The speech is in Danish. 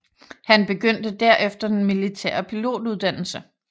Han begyndte derefter den militære pilotuddannelse